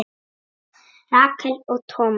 Rakel og Thomas.